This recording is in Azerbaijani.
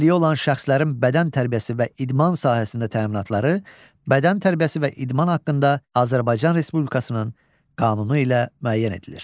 Əlilliyi olan şəxslərin bədən tərbiyəsi və idman sahəsində təminatları, bədən tərbiyəsi və idman haqqında Azərbaycan Respublikasının qanunu ilə müəyyən edilir.